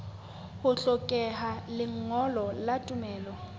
ho hlokeha lengolo la tumello